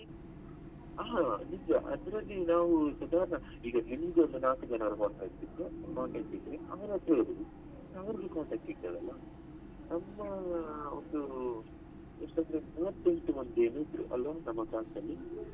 ಹಾ ನಿಜ ಅದ್ರಲ್ಲಿ ನಾವು ಸದಾರ್ಣ ಈಗ ನಿಮ್ಗೊಂದು ನಾಲ್ಕು ಜನರದ್ದು contact ಇದ್ರೆ ಅವರತ್ರ ಹೇಳಿ ಅವರಿಗೆ contact ಇರ್ತದಲ್ಲ ನಮ್ಮ ಒಂದು ಎಷ್ಟು ಒಂದು ಮೂವತ್ತು ಎಂಟು ಮಂದಿ ಜನ ಏನೋ ಇದ್ರು ಅಲ್ವ ನಮ್ಮ class ಅಲ್ಲಿ?